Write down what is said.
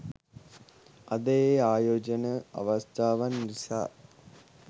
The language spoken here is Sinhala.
අද ඒ ආයෝජන අවස්ථාවන් නිසා